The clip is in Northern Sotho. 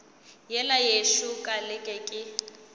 yela yešo ka leke ke